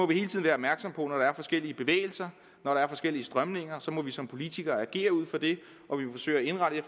vi hele tiden være opmærksomme på når der er forskellige bevægelser når der er forskellige strømninger må vi som politikere agere ud fra det